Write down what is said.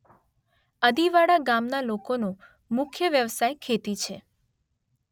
અદિવાડા ગામના લોકોનો મુખ્ય વ્યવસાય ખેતી છે.